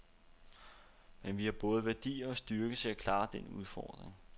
Men vi har både værdier og styrke til at klare den udfordring.